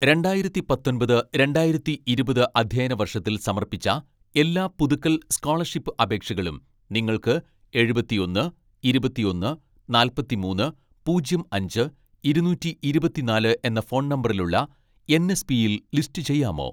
രണ്ടായിരത്തി പത്തൊൻപത് രണ്ടായിരത്തി ഇരുപത് അധ്യയന വർഷത്തിൽ സമർപ്പിച്ച എല്ലാ പുതുക്കൽ സ്‌കോളർഷിപ്പ് അപേക്ഷകളും നിങ്ങൾക്ക് എഴുപത്തിയൊന്ന് ഇരുപത്തിയൊന്ന് നാല്പത്തിമൂന്ന് പൂജ്യം അഞ്ച് ഇരുനൂറ്റി ഇരുപത്തിനാല് എന്ന ഫോൺ നമ്പറിലുള്ള എൻ.എസ്.പിയിൽ ലിസ്റ്റ് ചെയ്യാമോ